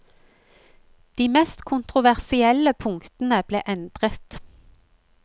De mest kontroversielle punktene ble endret.